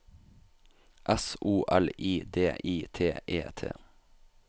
S O L I D I T E T